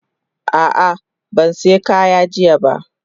Ah ah ban siya kaya jiya ba.